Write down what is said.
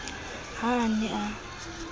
v ha a ne a